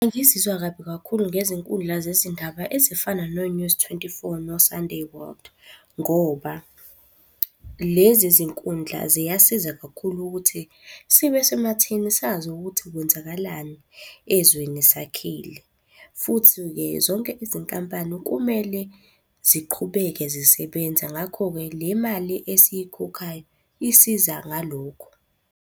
Bengizizwa kabi kakhulu ngezinkundla zezindaba ezifana no-News twenty-four, no-Sunday World ngoba lezi zinkundla ziyasiza kakhulu ukuthi sibe sematheni sazi ukuthi kwenzakalani ezweni sakhile. Futhi-ke, zonke izinkampani kumele ziqhubeke zisebenza ngakho-ke le mali esiyikhokhayo isiza ngalokho.